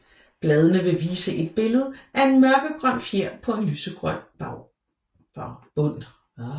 Bladene vil vise et billede af en mørkegrøn fjer på en lysegrøn bund